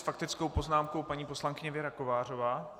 S faktickou poznámkou paní poslankyně Věra Kovářová.